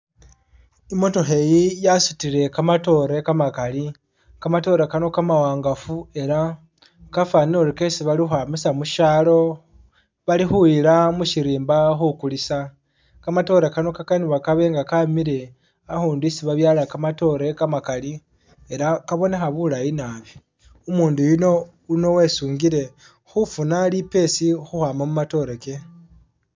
I'motookha eyi yasutile kamatoore kamakali, kamatoore kano kamawangafu ela kafanile ori kesi bali khukhwamisa mushaalo bali khuyiila musirimba khukulisa, kamatoore kano kakanibwa kaabe nga kamile ahundu isi babyaala kamatoore kamakali ela kabo nekha bulayi naabi, umundu yuno wesungile khufuna lipesi khukhwama mumatoore ke.